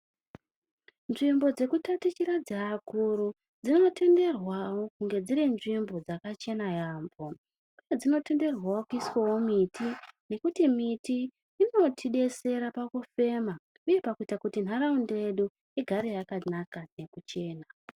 Nzvimbo dzekutatichira dzeakuru dzinotenderwawo kunge dziri nzvimbo dzakachena yampho dzinotenderwawo kuiswawo miti ngekuti miti inotidetsera pakufema uye pakuita kuti ntaraunda yedu igare yakanaka nekuchena.